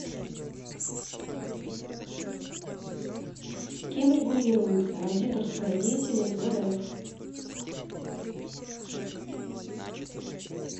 кем регулируется аудиторская деятельность в рф